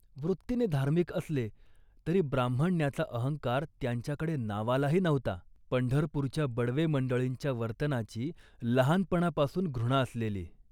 वृत्तीने धार्मिक असले, तरी ब्राह्मण्याचा अहंकार त्यांच्याकडे नावालाही नव्हता. पंढरपूरच्या बडवे मंडळींच्या वर्तनाची लहानपणापासून घृणा असलेली